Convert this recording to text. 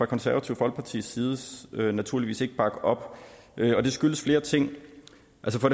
konservative folkepartis side naturligvis ikke bakke op og det skyldes flere ting